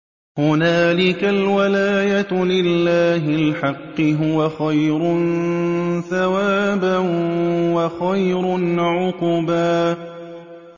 هُنَالِكَ الْوَلَايَةُ لِلَّهِ الْحَقِّ ۚ هُوَ خَيْرٌ ثَوَابًا وَخَيْرٌ عُقْبًا